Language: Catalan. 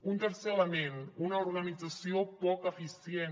un tercer element una organització poc eficient